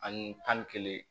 Ani tan ni kelen